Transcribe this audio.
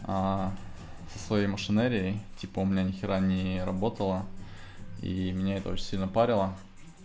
со своей машинерией типа у меня ни хера не работало и меня это очень сильно парило